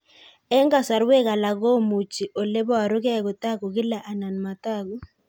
Eng' kasarwek alak komuchi ole parukei kotag'u kila anan matag'u